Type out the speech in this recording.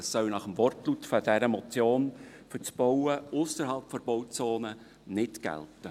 Das soll nach dem Wortlaut dieser Motion für das Bauen ausserhalb der Bauzone nicht gelten.